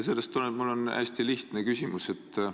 Sellest tulenevalt on mul hästi lihtne küsimus.